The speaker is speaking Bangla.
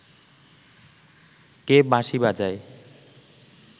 কে বাঁশি বাজায়